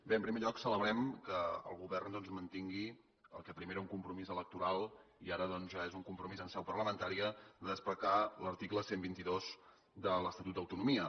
bé en primer lloc celebrem que el govern doncs mantingui el que primer era un compromís electoral i ara doncs ja és un compromís en seu parlamentària desplegar l’article cent i vint dos de l’estatut d’autonomia